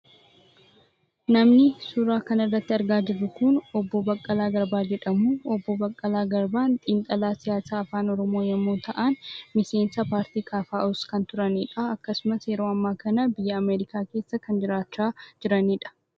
Namni suuraa kanarratti argaa jirru kun obbo Baqqalaa Garbaa jedhamu. Obbo Baqqalaa Garbaan xiinxalaa siyaasaa Afaan Oromoo yommuu ta'an, miseensa paartii KFO's kan turanidha. Akkasumas yeroo ammaa kana biyya Ameerikaa keessa kan jiraachaa jiranidha.